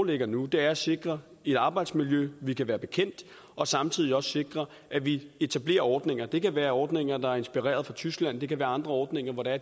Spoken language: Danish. ligger nu er at sikre et arbejdsmiljø vi kan være bekendt og samtidig også sikre at vi etablerer ordninger det kan være ordninger der er inspireret af tysklands det kan være andre ordninger hvor det er